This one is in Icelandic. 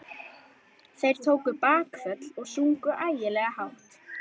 Þeir tóku bakföll og sungu ægilega hátt.